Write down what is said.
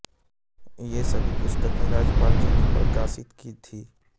ये सभी पुस्तकें राजपाल जी ने प्रकाशित की थीं